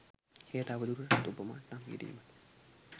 එය තව දුරටත් ඔප මට්ටම් කිරීමට